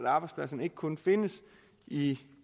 arbejdspladserne ikke kun findes i